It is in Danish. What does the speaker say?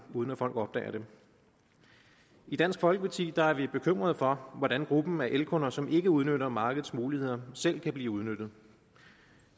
uden at folk opdager det i dansk folkeparti er vi bekymrede for hvordan gruppen af elkunder som ikke udnytter markedets muligheder selv kan blive udnyttet